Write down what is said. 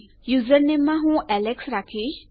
યુઝરનેમમાં હું એલેક્સ લખીશ